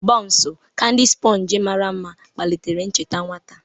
Baunsu, kandi spornchi mara mma, kpalitere ncheta nwata.